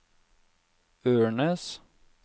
Ørnes